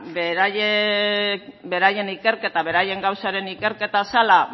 beraien ikerketa beraien gauzaren ikerketa zela